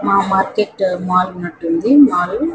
మా market mall ఉన్నట్టు ఉంది మాలు .